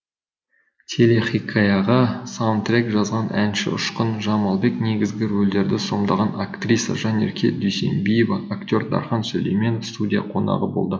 телехикаяға саундтрек жазған әнші ұшқын жамалбек негізгі рөлдерді сомдаған актриса жанерке дүйсенбиева актер дархан сүлейменов студия қонағы болды